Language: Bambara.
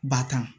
Batan